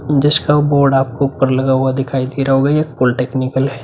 जिसका बोर्ड आपको ऊपर लगा हुआ दिखाई दे रहा होगा। ये पॉलिटेक्निकल है।